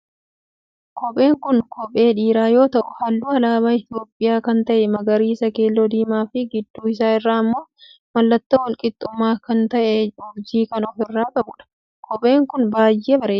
Kopheen kun kophee dhiiraa yoo ta'u halluu alaabaa Itiyoophiyaa kan ta'e magariisa, keelloo, diimaa fi gidduu isaa irraa immoo mallattoo walqixxummaa kan ta'e urjii kan of irraa qabudha. Kopheen kun baayyee bareeda.